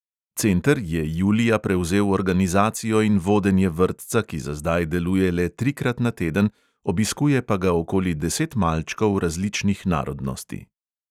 Center je julija prevzel organizacijo in vodenje vrtca, ki za zdaj deluje le trikrat na teden, obiskuje pa ga okoli deset malčkov različnih narodnosti.